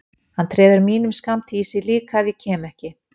Hann treður mínum skammti í sig líka ef ég kem ekki.